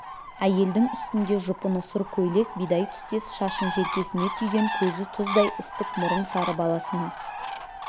әйелдің үстінде жұпыны сұр көйлек бидай түстес шашын желкесіне түйген көзі тұздай істік мұрын сары баласына